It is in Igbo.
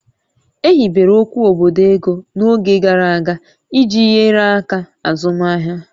E hibere okwu obodo ego n'oge gara aga iji nyere aka azụmaahịa